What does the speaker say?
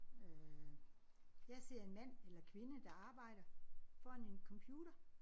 Øh jeg ser en mand eller kvinde der arbejder foran en computer